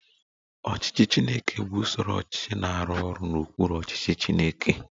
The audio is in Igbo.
Ọchịchị Chineke bụ usoro ọchịchị na-arụ ọrụ n'okpuru ọchịchị Chineke